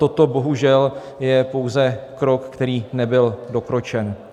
Toto bohužel je pouze krok, který nebyl dokročen.